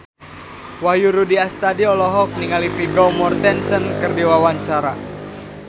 Wahyu Rudi Astadi olohok ningali Vigo Mortensen keur diwawancara